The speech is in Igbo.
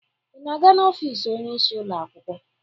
Ị na-aga n'ofiisi oyeisi ụlọ akwụkwọ?